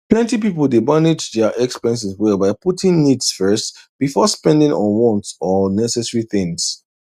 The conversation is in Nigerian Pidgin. plenty people dey manage their expenses well by putting needs first before spending on wants or unnecessary things